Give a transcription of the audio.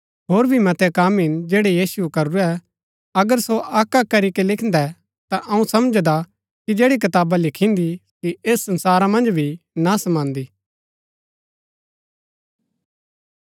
होर भी मतै कम हिन जैड़ै यीशुऐ करूरै अगर सो अक्क अक्क करीके लिखिन्दै ता अऊँ समझदा कि जैड़ी कताबा लिखिन्दी सो ऐस संसारा मन्ज भी ना समांदी